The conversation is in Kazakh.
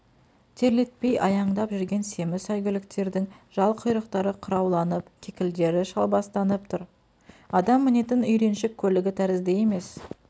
терлетпей аяндап жүрген семіз сәйгүліктердің жал-құйрықтары қырауланып кекілдері шалбастанып тұр адам мінетін үйреншік көлігі тәрізді емес